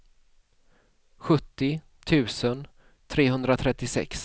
sjuttio tusen trehundratrettiosex